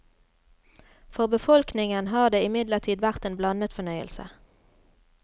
For befolkningen har det imidlertid vært en blandet fornøyelse.